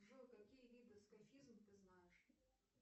джой какие виды скафизм ты знаешь